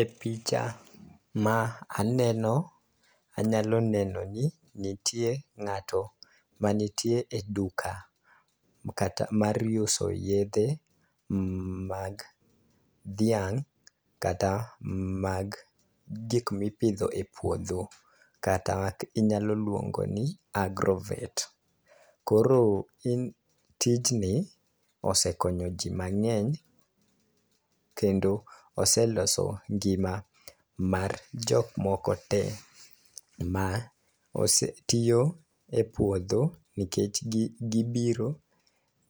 E picha ma aneno anyalo neno ni nitie ng'ato ma nitie e duka kata mar uso yedhe mag dhiang' kata mag gik mipidho e puodho kata inyalo luongo ni agrovet . Koro iny tijni osekonyo jii mang'eny kendo oseloso ngima mar jok moko tee ma osetiyo e puodho nikech gi gibiro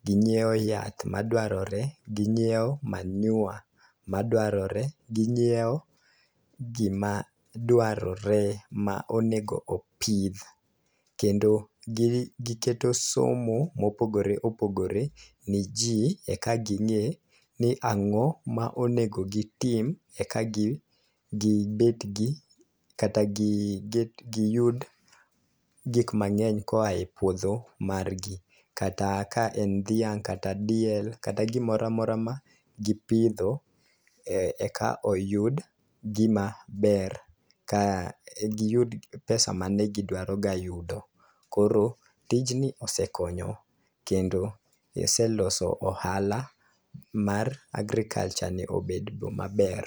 ginyiewo yath madwarore, ginyiewo manyiwa madwarore, ginyiewo gima dwarore ma onego opidh kendo gi giketo somo mopogore opogore ne jii eka ging'e ni ang'o ma onego gitim eka gi gibed gi kata gi gi yud gik mang'eny koa e puodho margi. Kata ka en gdhiang' kata diel kata gimoramora ma gipidho eka oyud gima ber ka giyud pesa manen gidwaro ga yudo .Koro tijni osekonyo kendo giseloso ohala mar agriculture ni obedo maber.